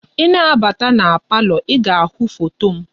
I na-abata na palọ, i ga-ahụ foto m.